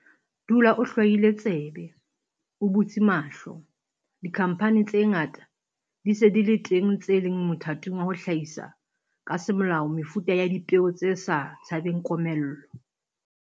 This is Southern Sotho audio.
Dula o hlwaile tsebe, o butse mahlo. Dikhamphani tse ngata di se di le teng tse leng mothating wa ho hlahisa ka semolao mefuta ya dipeo tse sa tshabeng komello.